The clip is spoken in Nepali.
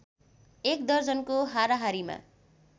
एक दर्जनको हाराहारीमा